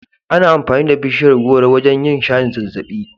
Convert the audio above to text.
Ana amfani da bishiyar gworo wajen yin shayin zazzaɓi.